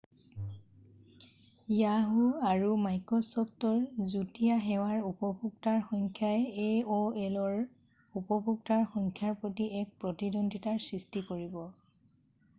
Yahoo! আৰু মাইক্ৰ’চ’ফ্টৰ যুটীয়া সেৱাৰ উপভোক্তাৰ সংখ্যাই aolৰ উপভোক্তাৰ সংখ্যাৰ প্ৰতি এক প্ৰতিদ্বন্দ্বিতাৰ সৃষ্টি কৰিব।